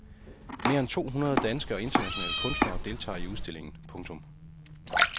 Mere end to hundrede danske og internationale kunstnere deltager i udstillingen. punktum